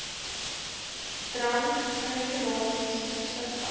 drankregulasies toesig hou